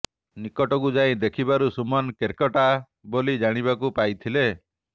ନିକଟକୁ ଯାଇ ଦେଖିବାରୁ ସୁମନ କେର୍କେଟା ବୋଲି ଜାଣିବାକୁ ପାଇଥିଲେ